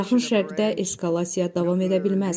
Yaxın Şərqdə eskalasiya davam edə bilməz.